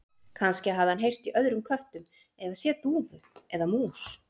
Kannski hafði hann heyrt í öðrum köttum eða séð dúfu eða mús.